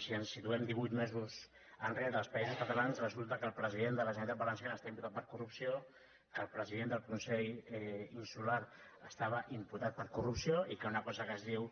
si ens situem divuit mesos enrere als països catalans resulta que el president de la generalitat valenciana està imputat per corrupció que el president del consell insular estava imputat per corrupció i que una cosa que es diu